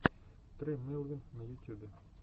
тре мелвин на ютюбе